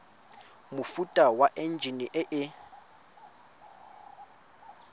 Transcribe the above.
mofuta wa enjine e e